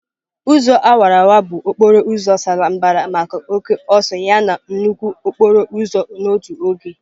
Ụzọ awara awara bụ okporo ụzọ sara mbara maka oke ọsọ yana nnukwu okporo ụzọ n'otu oge.